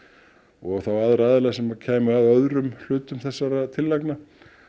og aðra aðila sem kæmu að öðrum hlutum þessara tillagna